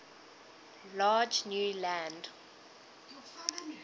large new land